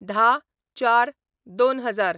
१०/०४/२०००